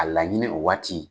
A laɲinin o waati.